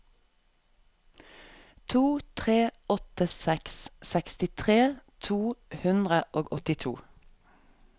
tre tre åtte seks sekstitre to hundre og åttiåtte